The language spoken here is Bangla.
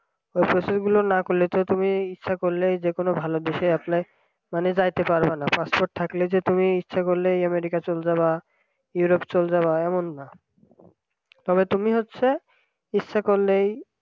processing গুলো না করলে তো তুমি ইচ্ছা করলেই যে কোন ভালো বিষয়ে apply মানে যাইতে পারবা না মানে passport থাকলেই যে তুমি ইচ্ছা করলেই আমেরিকায় চলে যাবা ইউরোপ চলে যাবা এমন না। আবার তুমি হচ্ছে ইচ্ছা করলেই